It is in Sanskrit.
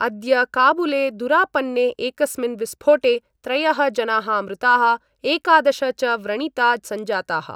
अद्य काबुले दुरापन्ने एकस्मिन् विस्फोटे त्रयः जनाः मृताः एकादश च व्रणिता संजाताः।